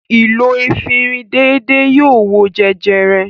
Ìlò efirin déédéé yóò wo jẹjẹrẹ.